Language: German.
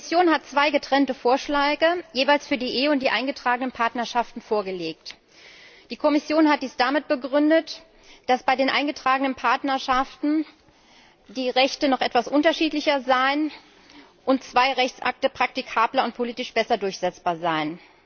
Sie hat zwei getrennte Vorschläge, jeweils für die Ehe und die eingetragenen Partnerschaften, vorgelegt. Die Kommission hat dies damit begründet, dass bei den eingetragenen Partnerschaften die Rechte noch etwas unterschiedlicher seien und zwei Rechtsakte praktikabler und politisch besser durchsetzbar seien.